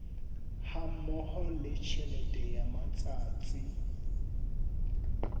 hammoho le tjhelete ya matsatsi